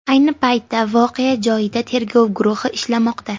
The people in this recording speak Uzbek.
Ayni paytda voqea joyida tergov guruhi ishlamoqda.